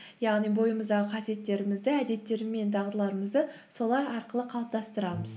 яғни бойымыздағы қасиеттерімізді әдеттер мен дағдыларымызды солар арқылы қалыптастырамыз